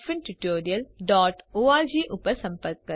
જોડાવા બદ્દલ આભાર